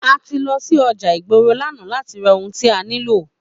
A ti lọ sí ọjà ìgboro l'ana láti ra ohun tí a nílò